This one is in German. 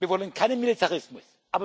Wir wollen keinen Militarismus.